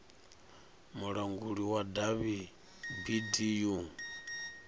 mulanguli wa davhi bd u